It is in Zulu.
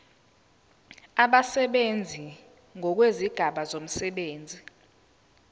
abasebenzi ngokwezigaba zomsebenzi